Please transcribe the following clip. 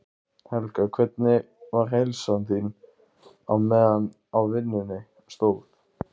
Helga: Hvernig var heilsan þín á meðan á vinnunni stóð?